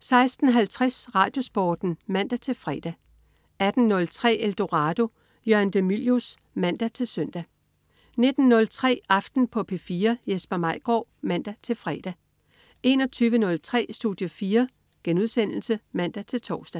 16.50 RadioSporten (man-fre) 18.03 Eldorado. Jørgen de Mylius (man-søn) 19.03 Aften på P4. Jesper Maigaard (man-fre) 21.03 Studie 4* (man-tors)